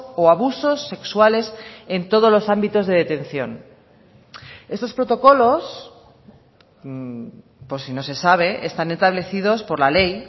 o abusos sexuales en todos los ámbitos de detención estos protocolos por si no se sabe están establecidos por la ley